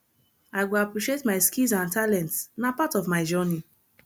i go appreciate my skills and talents na part of my journey